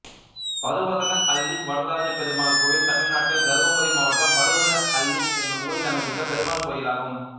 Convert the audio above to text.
பருவதன அள்ளி வரதராஜப் பெருமாள் கோயில் தமிழ்நாட்டில் தர்மபுரி மாவட்டம் பருவதன அள்ளி என்னும் ஊரில் அமைந்துள்ள பெருமாள் கோயிலாகும்